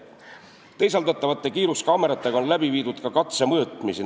Teisaldatavate kiiruskaameratega on läbi viidud ka katsemõõtmisi.